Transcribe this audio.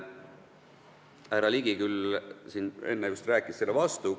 Härra Ligi küll siin enne just rääkis sellele vastu.